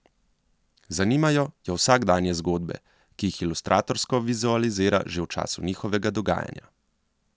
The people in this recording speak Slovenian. Zanimajo jo vsakdanje zgodbe, ki jih ilustratorsko vizualizira že v času njihovega dogajanja.